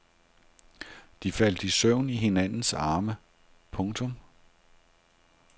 De faldt i søvn i hinandens arme. punktum